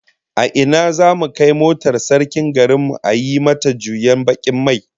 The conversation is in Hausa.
A ina zamu kai motar sarkin garin mu a yi mata juyen bakin mai?